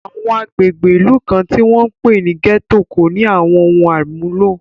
Àwọn agbègbè ìlú kan, tí wọ́n ń pè ní gẹ́tò, kò ní àwọn ohun àmúlò